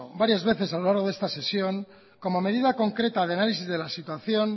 varias veces a lo largo de esta sesión como medida concreta de análisis de la situación